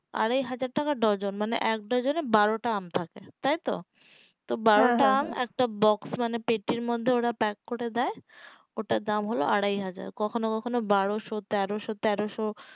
আড়াই হাজার টাকা ডর্জন মানে এক ডর্জনে বারোটা আম থাকে তাই তো তো বারোটা আম একটা pack মানে পেটির মধ্যে ওরা pack করে দেয় ওটার দাম হলো আড়াই হাজার কখনো কখনো বারোসো তেরোশো তেরোশো